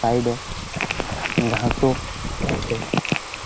Side -এ ঘাসও আছে ।